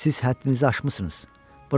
Siz həddinizi aşmısınız.